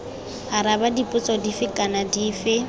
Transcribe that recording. araba dipotso dife kana dife